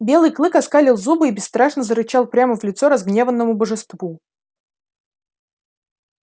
белый клык оскалил зубы и бесстрашно зарычал прямо в лицо разгневанному божеству